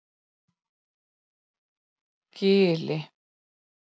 Gili